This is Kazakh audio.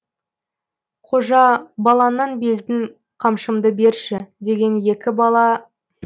қожа баланнан бездім қамшымды берші деген екен бала